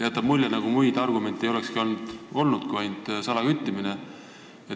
Jääb mulje, nagu muid argumente ei olekski olnud kui ainult salaküttimine.